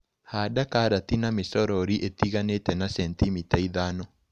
Handa karati na mĩcorori ĩtiganĩte na centimita ithano.